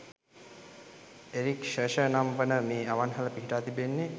Eric ෂෂ නම් වන මේ අවන්හල පිහිටා තිබෙන්නේ